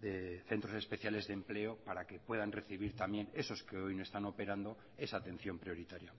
de centros especiales de empleo para que puedan recibir también esos que hoy no están operando esa atención prioritaria